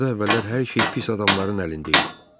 Burda əvvəllər hər şey pis adamların əlində idi.